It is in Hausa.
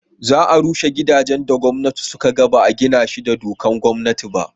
za a rushe gidajen da gwamnati suka ga ba a gina shi da dokan gwamnati ba